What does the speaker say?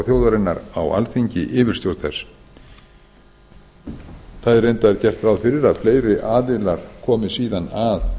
þjóðarinnar á alþingi yfirstjórn þess það er reyndar gert ráð fyrir að fleiri aðilar komi síðan að